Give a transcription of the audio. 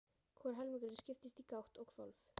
Hvor helmingurinn skiptist í gátt og hvolf.